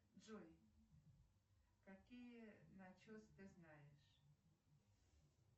джой какие начесы ты знаешь